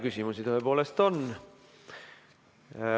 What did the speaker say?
Küsimusi tõepoolest on.